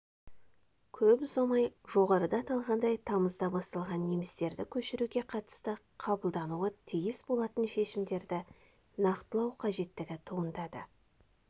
көп ұзамай жоғарыда аталғандай тамызда басталған немістерді көшіруге қатысты қабылдануы тиіс болатын шешімдерді нақтылау қажеттігі туындады